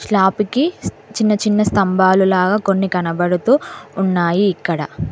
స్లాపికి కి చిన్న చిన్న స్తంభాలులాగా కొన్ని కనబడుతూ ఉన్నాయి ఇక్కడ.